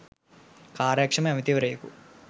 කාර්යක්‍ෂම ඇමතිවරයෙකු